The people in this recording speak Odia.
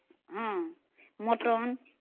ହଁ mutton